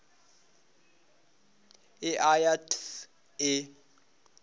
e a ya th e